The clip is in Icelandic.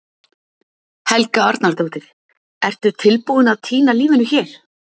Helga Arnardóttir: Ertu tilbúinn að týna lífinu hér?